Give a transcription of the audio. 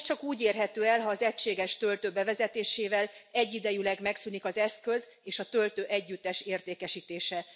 Ez csak úgy érhető el, ha az egységes töltő bevezetésével egyidejűleg megszűnik az eszköz és a töltő együttes értékesítése.